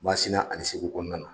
Masina ani Segu kɔnɔna na